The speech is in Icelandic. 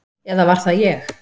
Eða var það ég?